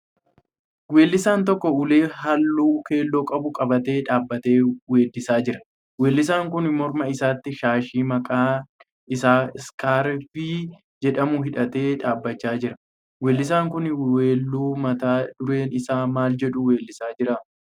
Weellisaan tokko ulee halluu keelloo qabu qabatee dhaabbatee weeddisaa jira. Weellisaan kun morma isaatti shaashii maqaan isaa 'iskarfii' jedhamu hidhatee dhaabbachaa jira. Weellisaan kun weelluu mata dureen isaa maal jedhu weellisaa jira?